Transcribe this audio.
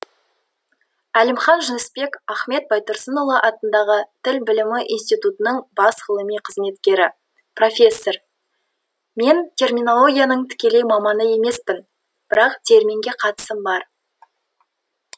әлімхан жүнісбек ахмет байтұрсынұлы атындағы тіл білімі институтының бас ғылыми қызметкері профессор мен терминологияның тікелей маманы емеспін бірақ терминге қатысым бар